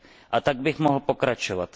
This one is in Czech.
A tak bych mohl pokračovat.